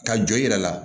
Ka jɔ i yɛrɛ la